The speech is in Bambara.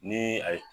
Ni a ye